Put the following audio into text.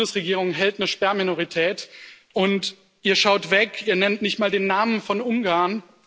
Die Bundesregierung hält eine Sperrminorität, und Ihr schaut weg, ihr nennt nicht mal den Namen Ungarns.